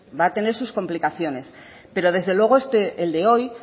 va a tener sus complicaciones pero desde luego el de hoy